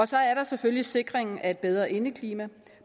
så er der selvfølgelig sikringen af et bedre indeklima